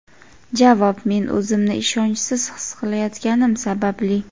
Javob: "Men o‘zimni ishonchsiz his qilayotganim sababli.".